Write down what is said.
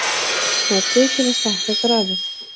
Smellið til að stækka grafið.